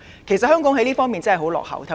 其實，香港在這方面真的十分落後。